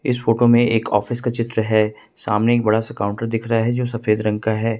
इस फोटो में एक ऑफिस का चित्र है सामने एक बड़ा से काउंटर दिख रहा है जो सफेद रंग का है।